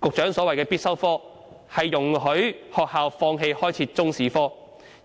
局長所謂的必修科，是容許學校放棄開設中史科，